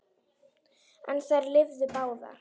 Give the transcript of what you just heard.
En þær lifðu báðar.